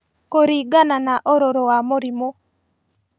Kũringana na ũrũrũ wa mũrimũ